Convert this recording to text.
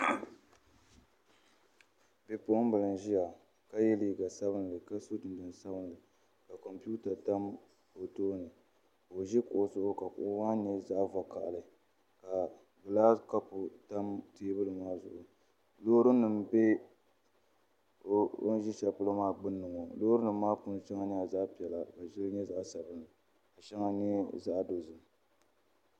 Bipuɣunbili n ʒiya ka yɛ liiga sabinli ka so jinjɛm sabinli ka kompiuta tam o tooni ka o ʒi kuɣu zuɣu ka kuɣu maa nyɛ zaɣ vakaɣali ka gilaas kapu tam teebuli maa zuɣu loori nim bɛ o ni ʒi shɛli polo maa gbunni ŋo loorinima maa puuni shɛŋa nyɛla zaɣ piɛla ka shɛli nyɛ zaɣ sabinli ka shɛli nyɛ zaɣ dozim